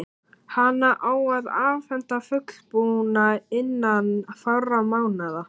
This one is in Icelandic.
Hana á að afhenda fullbúna innan fárra mánaða.